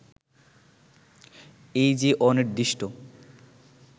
এই যে অনির্দিষ্ট